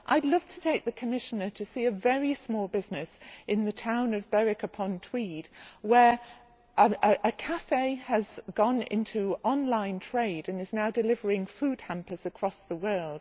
I would love to take the Commissioner to see a very small business in the town of Berwick upon Tweed where a café has gone into online trade and is now delivering food hampers across the world.